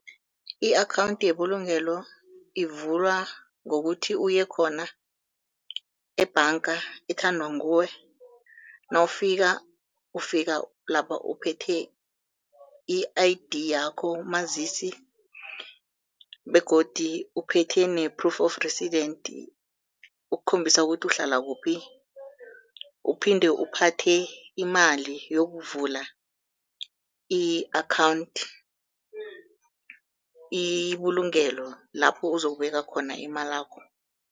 I-akhawunthi yebulugelo ivulwa ngokuthi uye khona ebhanga ethandwa nguwe nawufika, ufika lapha uphethe i-I_D yakho umazisi begodu uphethe ne-proof of resident ukukhombisa ukuthi uhlala kuphi, uphinde uphathe imali yokuvula i-akhawunthi ibulungelo lapho uzokubeka khona imalakho.